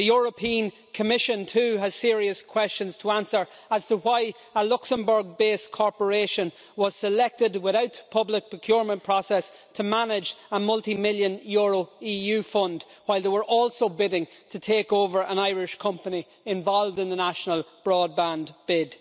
The Commission too has serious questions to answer as to why a Luxembourg based corporation was selected without public procurement process to manage a multi million euro EU fund while they were also bidding to take over an Irish company involved in the National Broadband bid.